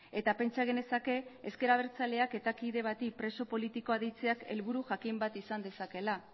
eta pentsa genezake ezker abertzaleak eta kide bati preso politikoa deitzeak helburu jakin bat izan dezakeela